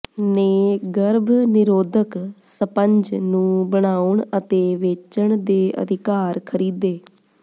ਨੇ ਗਰਭ ਨਿਰੋਧਕ ਸਪੰਜ ਨੂੰ ਬਣਾਉਣ ਅਤੇ ਵੇਚਣ ਦੇ ਅਧਿਕਾਰ ਖਰੀਦੇ